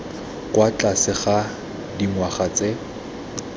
kwa tlase ga dingwaga tse